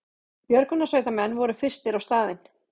Björgunarsveitarmenn voru fyrstir á staðinn